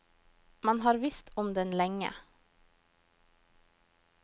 Man har visst om den lenge.